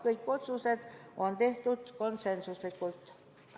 Kõik otsused on tehtud konsensuslikult.